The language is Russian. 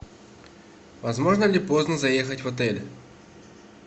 возможно ли поздно заехать в отель